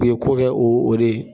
Nin ko bɛɛ o o de ye.